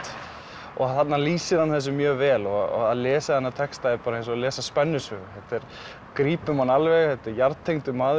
og þarna lýsir hann þessu mjög vel og að lesa þennan texta er bara eins og að lesa spennusögu þetta grípur mann alveg þetta er jarðtengdur maður